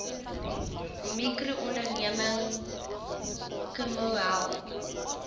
mikroonderneming kmmo help